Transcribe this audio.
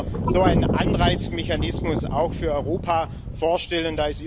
Ich könnte mir so einen Anreizmechanismus auch für Europa vorstellen.